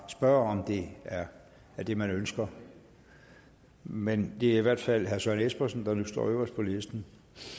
spørge om det er det man ønsker men det er i hvert fald herre søren espersen der nu står øverst på listen